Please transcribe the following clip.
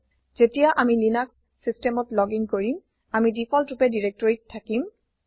যেতিয়া আমি লিনাক্স systemত লগিন কৰিম আমি দিফল্ট ৰূপে দিৰেক্তৰিত থাকিম